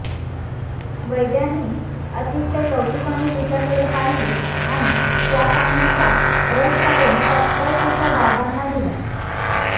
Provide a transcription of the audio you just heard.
वैद्यांनी अतिशय कौतुकाने तिच्याकडे पाहिले आणि त्या पानांचा रस काढून तत्काळ तिच्या बाबांना दिला